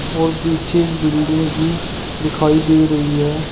और पीछे बिल्डिंग भी दिखाई दे रही है।